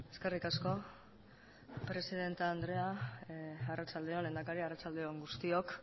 eskerrik asko presidente andrea arratsalde on lehendakari arratsalde on guztiok